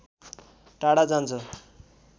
टाढा जान्छ